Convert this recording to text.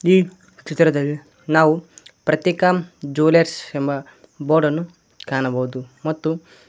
ಈ ಚಿತ್ರದಲ್ಲಿ ನಾವು ಪ್ರತೀಕ ಜ್ಯುವೆಲ್ಲರ್ಸ್ ಎಂಬ ಬೋರ್ಡ್ ಅನ್ನು ಕಾಣಬೋದು ಮತ್ತು--